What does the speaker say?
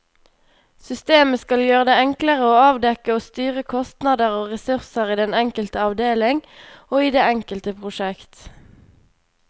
Systemet skal gjøre det enklere å avdekke og styre kostnader og ressurser i den enkelte avdeling og i det enkelte prosjekt.